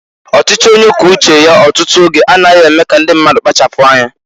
Ọchịchị onye kwuo uche ya ọtụtụ oge a naghi eme ka ndị mmadụ kpachapụ anya.